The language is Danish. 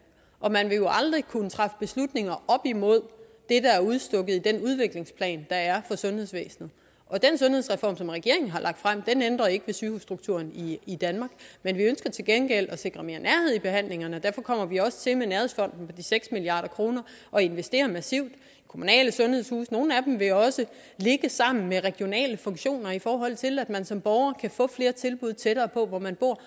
og man vil jo aldrig kunne træffe beslutninger op imod det der er udstukket i den udviklingsplan der er for sundhedsvæsenet og den sundhedsreform som regeringen har lagt frem ændrer ikke ved sygehusstrukturen i i danmark men vi ønsker til gengæld at sikre mere nærhed i behandlingerne og derfor kommer vi også til med nærhedsfonden på de seks milliard kroner at investere massivt i kommunale sundhedshuse nogle af dem vil også ligge sammen med regionale funktioner i forhold til at man som borger kan få flere tilbud tættere på hvor man bor